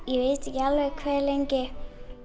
ég veit ekki hve lengi